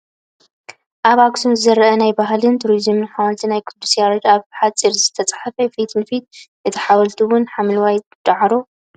ኣብ ኣክሱም ዝሪከብ ናይ ባህልን ቱሪዝምን ሓወልቲ ናይ ቅዱስ ያረድ ብ ሓፁር ዝትሓፀረ ፊት ንፊት እቲ ሓወልቲ እውን ሓምለዋይ ዳዕሮ ኣሎ ።